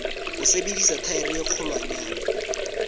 ho sebedisa thaere e kgolwanyane